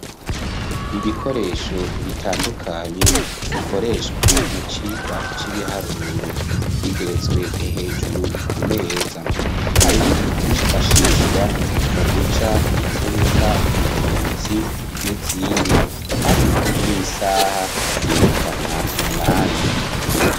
Ibikoresho bitandukanye bikoreshwa mu cigwa c'ibiharuro, bigeretswe hejuru ku meza. Harimwo ivyifashishwa mu guca imfuruka ngororotsi n'izindi, hamwe n'isaha yerekana umwanya.